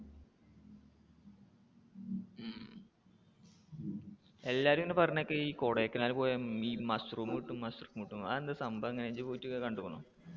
എല്ലാവരും ഇങ്ങനെ പറയണ കേക്ക ഈ കൊടൈക്കനാല് പോയ ഈ mushroom കിട്ടും mushroom കിട്ടും എന്ന്, അത് എന്താ സംഭവം?